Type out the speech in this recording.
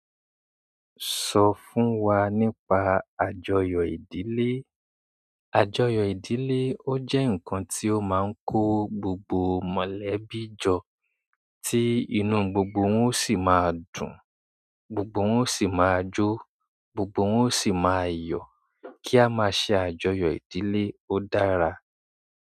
Sọ fún wa nípa àjọyọ̀ ìdílé. Àjọyọ̀ ìdílé, ó jẹ́ ǹkan tí ó máa ń kó gbogbo mọ̀lẹ́bí jọ, tí inú gbogbo wọn ó sì máa dùn, gbogbo wọn ó sì máa jó, gbogbo wọn ó sì máa yọ̀, kí a máa ṣe àjọyọ̀ ìdílé ó dára.